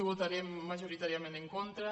hi votarem majoritàriament en contra